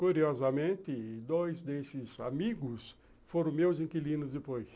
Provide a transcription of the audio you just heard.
Curiosamente, dois desses amigos foram meus inquilinos depois.